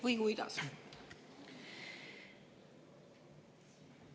Või kuidas?